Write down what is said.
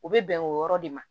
U bɛ bɛn o yɔrɔ de ma